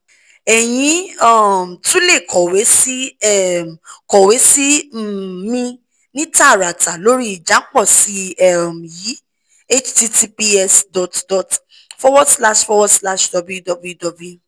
ẹ̀yin um tún lè kọ̀wé sí um kọ̀wé sí um mi ní tààràtà lórí ìjápọ̀sí̀ um yìí https dot dot forward slash forward slash www